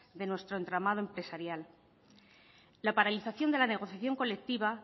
de nuestro entramado empresarial la paralización de la negociación colectiva